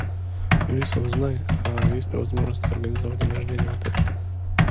алиса узнай есть ли возможность организовать день рождения в отеле